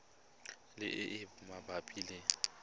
le e e mabapi le